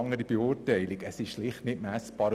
Diese Leistung ist schlicht nicht messbar.